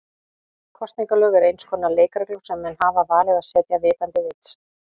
Kosningalög eru eins konar leikreglur sem menn hafa valið að setja vitandi vits.